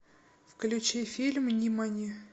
включи фильм нимани